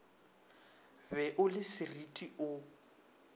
be o le sereti o